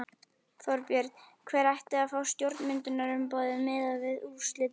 Þorbjörn: Hver ætti að fá stjórnarmyndunarumboðið miðað við úrslitin?